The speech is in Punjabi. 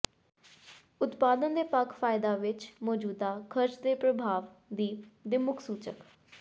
ਉਤਪਾਦਨ ਦੇ ਪੱਖ ਫਾਇਦਾ ਵਿੱਚ ਮੌਜੂਦਾ ਖਰਚ ਦੇ ਪ੍ਰਭਾਵ ਦੀ ਦੇ ਮੁੱਖ ਸੂਚਕ